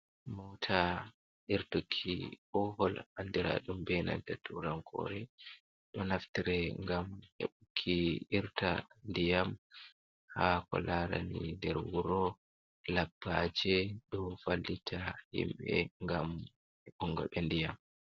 Mota irtuki bohal andiradum be nanta turankore do naftre gam heɓuki irta diyam ha ko larani nder wuro labpaje do wallita himbe ngam hebungo be diyam.